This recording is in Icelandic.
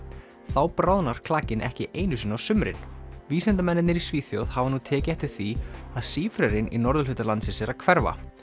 þá bráðnar klakinn ekki einu sinni á sumrin vísindamennirnir í Svíþjóð hafa nú tekið eftir því að sífrerinn í norðurhluta landsins er að hverfa